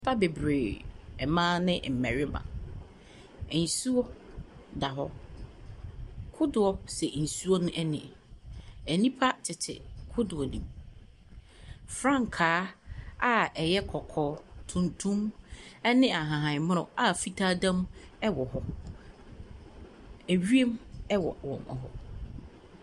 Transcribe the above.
Nnipa bebree, mmaa ne mmarima. Nsuo da hɔnom. Kodoɔ si nsuo no ani. Nnipa tete kodoɔ no mu. Frankaa a ɛyɛ kɔkɔɔ, tumtum ɛne ahahanmono a fitaa da mu ɛwɔ hɔ. Ɛwiem ɛwɔ hɔ.